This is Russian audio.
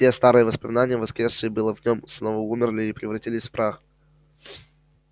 все старые воспоминания воскресшие было в нем снова умерли и превратились в прах